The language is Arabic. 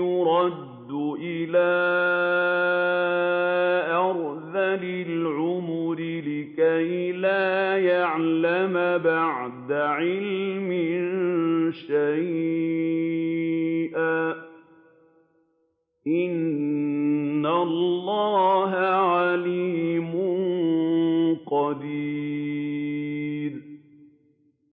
يُرَدُّ إِلَىٰ أَرْذَلِ الْعُمُرِ لِكَيْ لَا يَعْلَمَ بَعْدَ عِلْمٍ شَيْئًا ۚ إِنَّ اللَّهَ عَلِيمٌ قَدِيرٌ